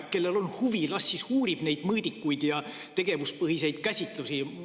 Kellel on huvi, las siis uurib neid mõõdikuid ja tegevuspõhiseid käsitlusi.